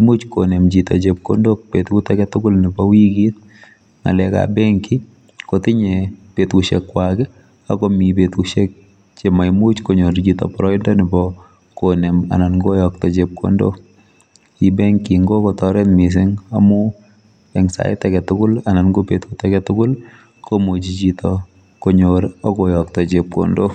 imuch konem chito chepkondok betut aketugul nebo wikit ngalekab benki kotinye betusiekwak akomi betusiek chememuchi konyor chito boroindo nebo konem anan koyokto chepkondok E-banking kokotoret mising amu eng sait aketugul anan kobetut aketugul komuchi chito konyor akoyokto chepkondok